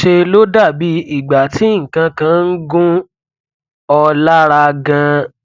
ńṣe ló dà bí ìgbà tí nǹkan kan ń gún ọ lára ganan